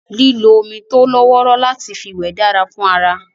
Lílo omi tó lọ́wọ́rọ́ láti fi wẹ̀ dára fún ara